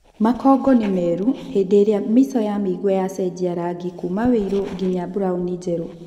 makonngo ni meru hĩndĩ ĩrĩa mĩico ya mĩigua yacenjia rangi kuuma wĩiru nginya mburaũni njeru.